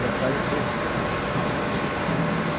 E apareceu esse negócio.